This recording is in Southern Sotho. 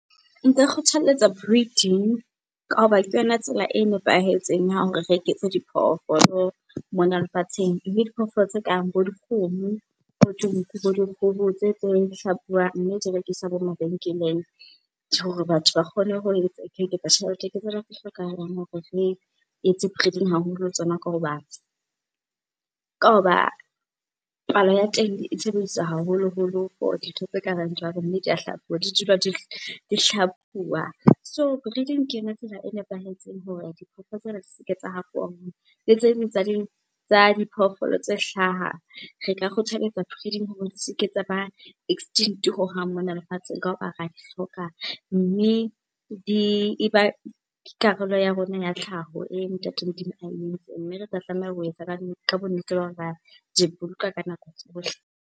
Kgothalletsa breeding ka hoba ke yona tsela e nepahetseng ya hore re eketse di phoofolo mona lefatsheng, mme diphoofolo tse kang bo dikgomo, bo dinku, bo dikgoho tse teng hlabuwang mme di rekiswa bo mabenkeleng hore batho ba kgone ho tjhelete. Ke tsona tse hlokahalang hore re etse breeding haholo ho tsona ka hoba palo ya teng e sebediswa haholoholo for dintho tse ka bang jwalo mme di a hlabuwa, di dula di hlabuwa. So breeding ke yona tsela e nepahetseng hore diphoofolo tsena di seke tsa hafowa. Tse ding tsa diphoofolo tse hlaha. Re ka kgothaletsa breeding hore di seke tsa ba extinct hohang mona lefatsheng, ka hoba ra di hloka mme e ba karolo ya rona ya tlhaho eo Ntate Modimo a entseng. Mme retla tlameha ho etsa ka bonnete ba hore ra di boloka ka nako tsohle.